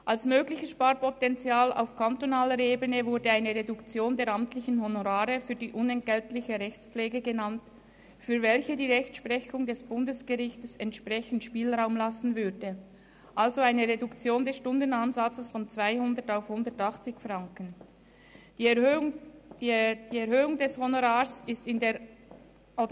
Als mögliches Sparpotenzial auf kantonaler Ebene wurde eine Reduktion der amtlichen Honorare für die unentgeltliche Rechtspflege genannt, für welche die Rechtsprechung des Bundesgerichts entsprechenden Spielraum gewähren würde, also eine Reduktion des Stundenansatzes von 200 auf 180 Franken.